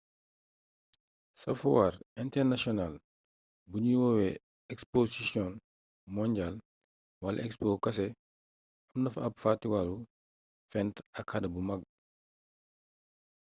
ca fuwaar internasiyonaal buñuy woowee exposisiyon monjaal wala expo kese am na fa ab fatiwaalu fent ak xarala bu mag